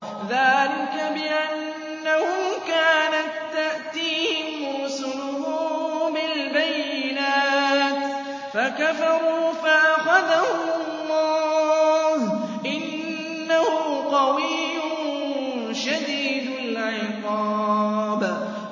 ذَٰلِكَ بِأَنَّهُمْ كَانَت تَّأْتِيهِمْ رُسُلُهُم بِالْبَيِّنَاتِ فَكَفَرُوا فَأَخَذَهُمُ اللَّهُ ۚ إِنَّهُ قَوِيٌّ شَدِيدُ الْعِقَابِ